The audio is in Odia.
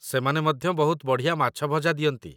ସେମାନେ ମଧ୍ୟ ବହୁତ ବଢ଼ିଆ ମାଛ ଭଜା ଦିଅନ୍ତି